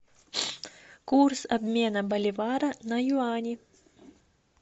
курс обмена боливара на юани